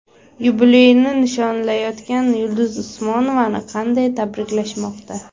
Yubileyini nishonlayotgan Yulduz Usmonovani qanday tabriklashmoqda?.